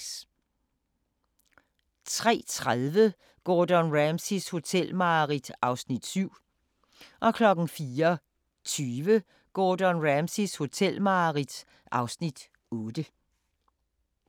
03:30: Gordon Ramsays hotelmareridt (Afs. 7) 04:20: Gordon Ramsays hotelmareridt (Afs. 8)